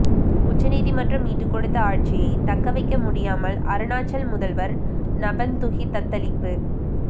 உச்சநீதிமன்றம் மீட்டுக் கொடுத்த ஆட்சியை தக்க வைக்க முடியாமல் அருணாச்சல் முதல்வர் நபம்துகி தத்தளிப்பு